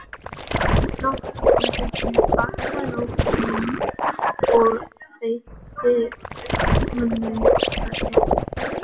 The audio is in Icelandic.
Loks opnaði hún bakarofninn og þeytti honum þar inn.